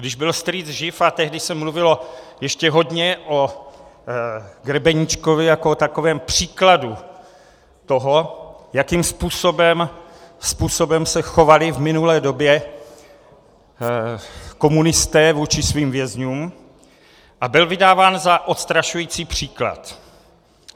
Když byl strýc živ, a tehdy se mluvilo ještě hodně o Grebeníčkovi jako o takovém příkladu toho, jakým způsobem se chovali v minulé době komunisté vůči svým vězňům, a byl vydáván za odstrašující příklad.